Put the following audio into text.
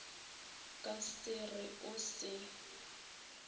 ka se re o se